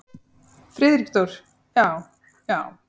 Friðrik Dór: Já. já.